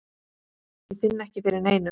Ég finn ekki fyrir neinu.